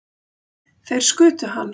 Þeir skutu hann